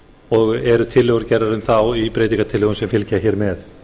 og eru tillögur gerðar um það í breytingartillögum sem fylgja hér með